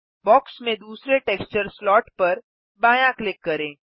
box में दूसरे texture slot पर बायाँ क्लिक करें